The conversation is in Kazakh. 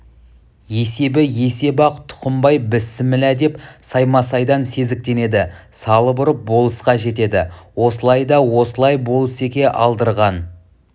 есебі есеп-ақ тұқымбай бісмілла деп саймасайдан сезіктенеді салып ұрып болысқа жетеді осылай да осылай болысеке алдырған